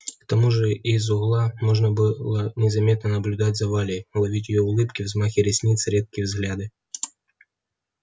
к тому же из угла можно было незаметно наблюдать за валей ловить её улыбки взмахи ресниц редкие взгляды